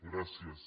gràcies